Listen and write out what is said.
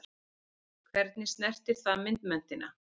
Hvernig snertir það myndmenntina?